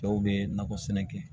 Dɔw bɛ nakɔ sɛnɛ kɛ